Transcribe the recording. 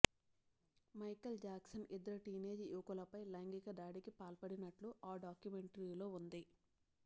Michael Jackson ఇద్దరు teenage యువకులపై లైంగిక దాడికి పాల్పడినట్లు ఆ డాక్యుమెంటరీలో ఉంది